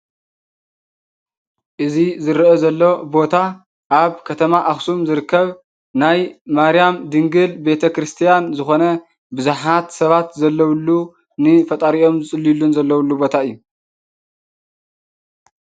እዚ ዝረአ ዘሎ ቦታ አብ ከተማ አክሱም ዝርከብ ናይ ማርያም ድንግል ቤተ ክርስቲያን ዝኾነ ብዙሓት ሰባት ዘለውሉ ንፈጣሪኦም ዝፅልይሉን ዘለውሉ ቦታ እዩ።